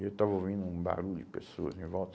Eu estava ouvindo um barulho de pessoas em volta.